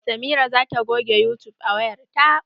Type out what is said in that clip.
Samira zata goge yutub a wayar ta.